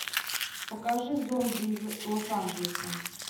покажи зомби из лос анджелеса